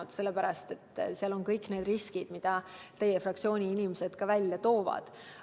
Seda sellepärast, et seal on kõik need riskid, mida teie fraktsiooni inimesed on välja toonud.